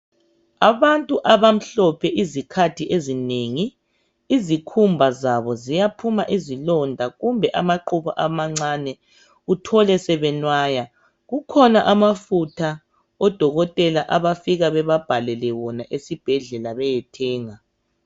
Abantu abamhlophe izikhathi ezinengi ikhumba zabo ziyaphuma izilonda kumbe amaqubu amancane uthole sebenwaya kukhona amafutha odokotela abafika bebabhalele wona esibhedlela beyewathenga